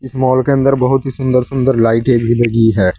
Mall के अंदर बहुत ही सुंदर सुंदर लाइटें भी लगी हैं।